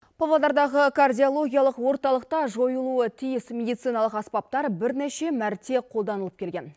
павлодардағы кардиологиялық орталықта жойылуы тиіс медициналық аспаптар бірнеше мәрте қолданылып келген